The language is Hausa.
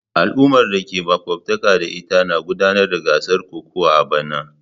Al'ummar da ke makwabtaka da ita na gudanar da gasar kokawa a bana.